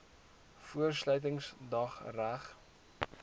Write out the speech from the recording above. voor sluitingsdag reg